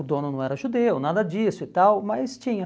O dono não era judeu, nada disso e tal, mas tinha.